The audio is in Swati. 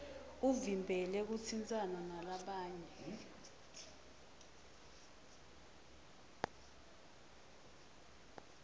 uvimbele kutsintsana nalabanye